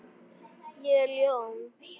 Ég er ljón.